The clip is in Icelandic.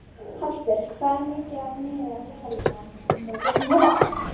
Hallbjörg, hvað er mikið eftir af niðurteljaranum?